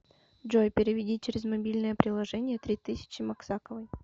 джой переведи через мобильное приложение три тысячи максаковой